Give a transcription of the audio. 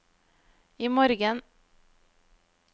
imorgen